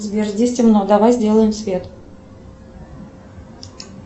сбер здесь темно давай сделаем свет